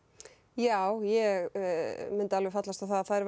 já ég myndi alveg fallast á það að þær